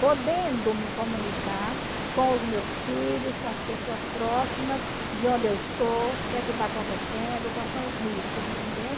podendo me comunicar com os meus filhos, com as pessoas próximas, de onde eu estou, o que é que está acontecendo, quais são os riscos, entendeu?